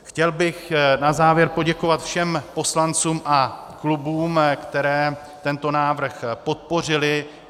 Chtěl bych na závěr poděkovat všem poslancům a klubům, které tento návrh podpořily.